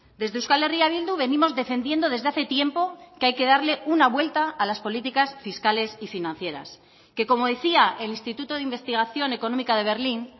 desde euskal herria bildu venimos defendiendo desde hace tiempo que hay que darle una vuelta a las políticas fiscales y financieras que como decía el instituto de investigación económica de berlín